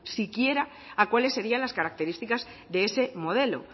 siquiera a cuáles serían las características de ese modelo